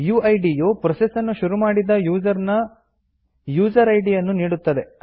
UID ಯು process ನ್ನು ಶುರು ಮಾಡಿದ ಯುಸರ್ ನ ಯುಸರ್ ಇದ್ ಯನ್ನು ನೀಡುತ್ತದೆ